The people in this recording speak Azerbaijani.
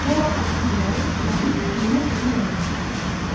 Zolağın ucları itilənib iynə kimi yonulmuşdu.